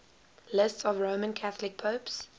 lists of roman catholic popes